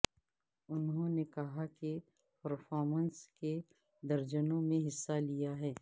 انہوں نے کہا کہ پرفارمنس کے درجنوں میں حصہ لیا ہے